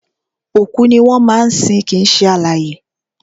Òkú ni wọ́n máa ń sin kìí ṣe alààyè